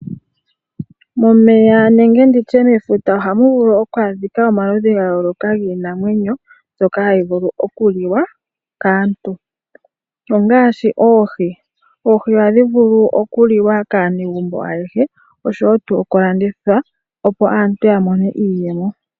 Momeya nenge nditye mefuta ohamu vulu oku adhika omaludhi ga yooloka giinamwenyo mbyoka hayi vulu oku liwa kaantu, ongaashi oohi. Oohi ohadhi vulu oku liwa kaanegumbo ayehe oshowo tuu oku landitha opo aantu ya mone iiyemo.